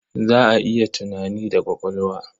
Za a yi tunani da ƙwaƙwalwa.